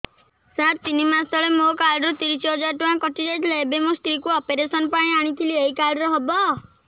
ସାର ତିନି ମାସ ତଳେ ମୋ କାର୍ଡ ରୁ ତିରିଶ ହଜାର ଟଙ୍କା କଟିଯାଇଥିଲା ଏବେ ମୋ ସ୍ତ୍ରୀ କୁ ଅପେରସନ ପାଇଁ ଆଣିଥିଲି ଏଇ କାର୍ଡ ରେ ହବ